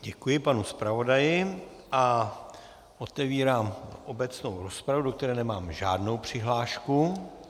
Děkuji panu zpravodaji a otevírám obecnou rozpravu, do které nemám žádnou přihlášku.